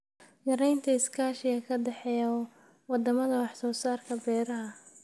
Yaraynta iskaashiga ka dhexeeya wadamada wax soo saarka beeraha.